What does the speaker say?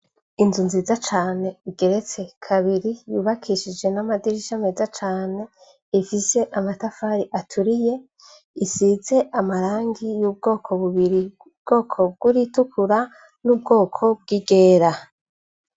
Inzu nziza cane igeretse kabiri yubakishije n'amadirisha meza cane, ifise amatafari aturiye, isize amarangi y'ubwoko bubiri:ubwoko bw'iritukura, n'ubwoko bw'iryera.